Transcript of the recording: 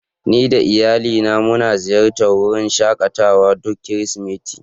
Ni da iyalina muna ziyartar wurin shakatawa duk Kirsimeti.